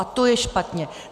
A to je špatně.